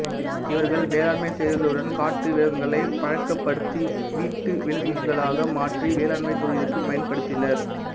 இவர்கள் வேளாண்மை செய்ததுடன் காட்டு விலங்குகளைப் பழக்கப்படுத்தி வீட்டு விலங்களாக மாற்றி வேளாண்மைத் தொழிலுக்கு பயன்படுத்தினர்